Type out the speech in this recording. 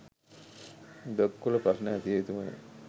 blog වල ප්‍රශ්න ඇසිය යුතුමය